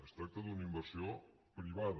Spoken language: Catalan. es tracta d’una inversió privada